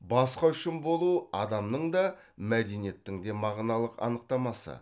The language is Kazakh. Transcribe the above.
басқа үшін болу адамның да мәдениеттің де мағыналық анықтамасы